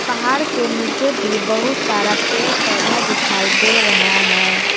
पहाड़ के नीचे भी बहुत सारा पेड़ पौधा दिखाई दे रहा है।